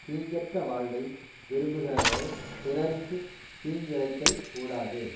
தீங்கற்ற வாழ்வை விரும்புகிறவர்கள் பிறருக்கு தீங்கிழைத்தல் கூடாது